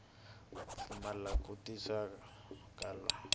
pfumala ku twisisa ka tsalwa